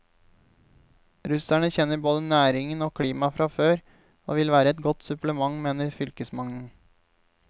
Russerne kjenner både næringen og klimaet fra før og vil være et godt supplement, mener fylkesmannen.